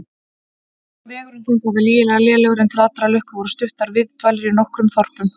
Vegurinn þangað var lygilega lélegur, en til allrar lukku voru stuttar viðdvalir í nokkrum þorpum.